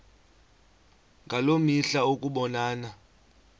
ngaloo mihla ukubonana